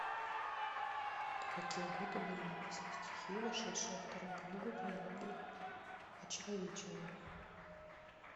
в какие годы были написаны стихи вошедшие во вторую книгу трилогии вочеловечения